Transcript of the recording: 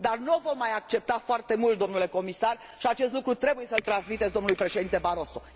Dar nu o vom mai accepta foarte mult, dle Comisar și acest lucru trebuie să îl transmiteți dlui Președinte Barroso.